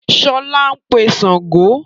Sọlá ń pè Sángo